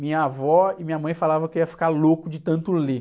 Minha avó e minha mãe falavam que eu ia ficar louco de tanto ler.